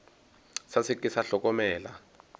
sa se ke sa hlokomela